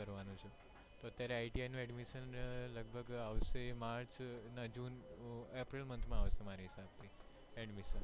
adimisson